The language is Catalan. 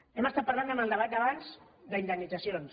hem estat parlant en el debat d’abans d’indemnitzacions